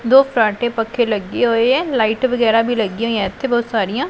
ਦੋ ਫਰਾਟੇ ਪੱਖੇ ਲੱਗੇ ਹੋਏ ਹ ਲਾਈਟ ਵਗੈਰਾ ਵੀ ਲੱਗੀ ਹੋਈ ਆ ਇਥੇ ਬਹੁਤ ਸਾਰੀਆਂ।